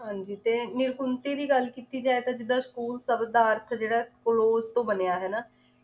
ਹਾਂਜੀ ਤੇ ਨਿਰਕੁੰਤੀ ਦੀ ਗੱਲ ਕੀਤੀ ਜਾਏ ਤਾਂ ਜਿਦਾਂ school ਸ਼ਬਦ ਦਾ ਅਰਥ ਜਿਹੜਾ close ਤੋਂ ਬਣਿਆ ਹਨਾਂ